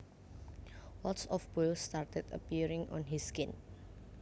Lots of boils started appearing on his skin